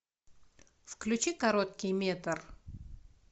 включи короткий метр